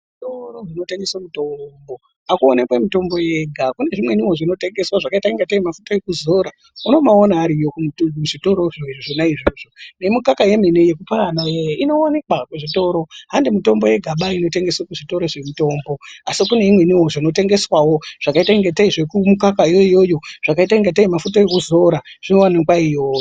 Zvitoro zvinotengese mitombo akuwonekwi mitombo yega kune zvimweniwo zvinotengeswa zvakaita kungatei mafuta ekuzora unobawaona ariyo kuzvitoro zvona izvozvo nemikaka yemene yekupa ana iyani inowanikwa kuzvitoro handi mitombo yegaba inotengeswa kuzvitorozvemitombo asi kune imweniwo inotengeswawo zvakaita kungatei zvekumukakayo iyoyo zvakaita ingatei mafuta ekudzora zvinoonekwa iyoyo.